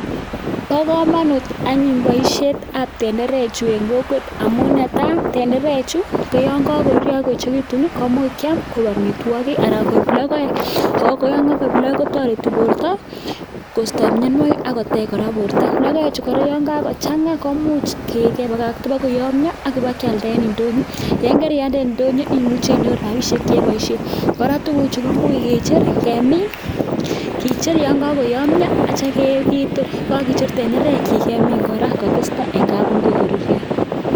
Bo komonut anyun boisietab tenderechu en kokwet amun netai: tendeechu yon kogoruryo ak koechegitun kimuch kyam koik amitwogik anan koik logoek ago yon kogoik logoek kotoreti borto kosto mianwogik ak kotech kora borto. Logoechu kora yon kogochang komuch kebakata bago yomnyo ak kebakyalda kora en ndonyo. Yon karialde en ndonyo imuche inyoru rabishek che iboishen. Kora tuguchu koimuch kicher kemin kicher yon kagoyomnyo akityo ketor, ye kogicher tenderekyik kemin kora kotestai en kapungui koruryo.